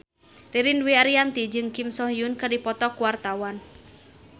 Ririn Dwi Ariyanti jeung Kim So Hyun keur dipoto ku wartawan